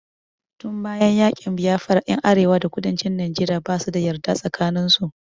Tun bayan yaƙin Biafra ƴan arewa da kudancin Najeriya basu da yarda tsakanin su.